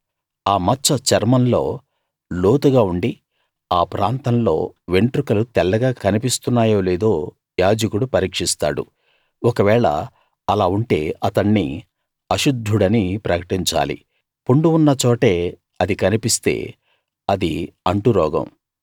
ఆ మచ్చ చర్మంలో లోతుగా ఉండి ఆ ప్రాంతంలో వెంట్రుకలు తెల్లగా కన్పిస్తున్నాయో లేదో యాజకుడు పరీక్షిస్తాడు ఒకవేళ అలా ఉంటే అతణ్ణి అశుద్ధుడని ప్రకటించాలి పుండు ఉన్నచోటే అది కన్పిస్తే అది అంటురోగం